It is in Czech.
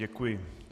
Děkuji.